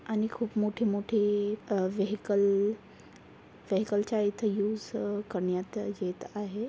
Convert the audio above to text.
आणि मोठे अं वेहिकल वेहिकल चा इथे यूज अ करण्यात येत आहे.